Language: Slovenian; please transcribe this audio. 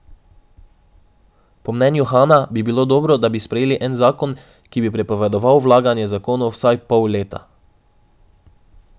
Po mnenju Hana bi bilo dobro, da bi sprejeli en zakon, ki bi prepovedoval vlaganje zakonov vsaj pol leta.